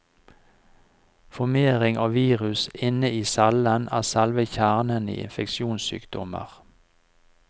Formering av virus inne i cellen er selve kjernen i infeksjonssykdommer.